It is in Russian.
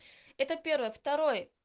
это первое второй